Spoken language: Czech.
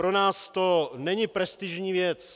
Pro nás to není prestižní věc.